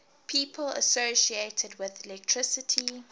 people associated with electricity